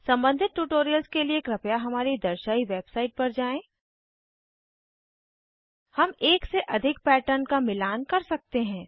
सम्बंधित ट्यूटोरियल्स के लिए कृपया हमारी दर्शायी वेबसाइट पर जाएँ httpspoken tutorialorg हम एक से अधिक पैटर्न का मिलान कर सकते हैं